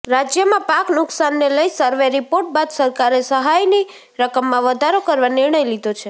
રાજ્યમાં પાક નુકસાનને લઈ સર્વે રિપોર્ટ બાદ સરકારે સહાયની રકમમાં વધારો કરવા નિર્ણય લીધો છે